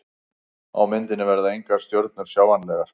Á myndinni verða engar stjörnur sjáanlegar.